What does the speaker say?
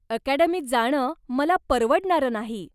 अकॅडमीत जाणं मला परवडणारं नाही.